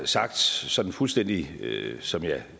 sagt sådan fuldstændig som jeg